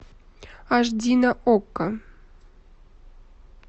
аш ди на окко